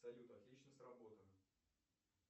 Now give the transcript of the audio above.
салют отлично сработано